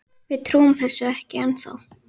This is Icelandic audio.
Við trúum þessu ekki ennþá.